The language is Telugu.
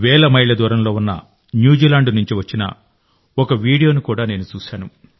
వేల మైళ్ల దూరంలో ఉన్న న్యూజిలాండ్ నుండి వచ్చిన ఒక వీడియోను కూడా నేను చూశాను